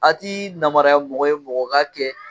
A ti namariya mɔgɔ ye mɔgɔ k'a kɛ